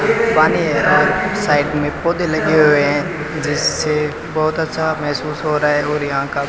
पानी है और साइड में पौधे लगे हुए हैं जिससे बहुत अच्छा महसूस हो रहा है और यहां का --